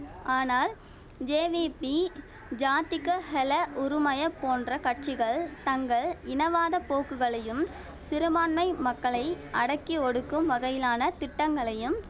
ஆனால் ஜேவிபி ஜாத்திக ஹெல உறுமய போன்ற கட்சிகள் தங்கள் இனவாத போக்குகளையும் சிறுபான்மை மக்களை அடக்கி ஒடுக்கும் வகையிலான திட்டங்களையும்